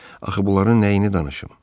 Axı bunların nəyini danışım?